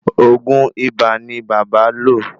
Òògùn ibà ní bàbá lo